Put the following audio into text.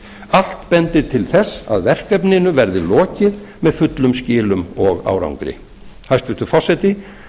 allt bendir til þess að verkefninu verði lokið með fullum skilum og árangri hæstvirtur forseti